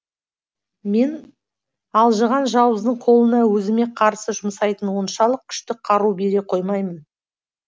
мен алжыған жауыздың қолына өзіме қарсы жұмсайтын оншалық күшті қару бере қоймаймын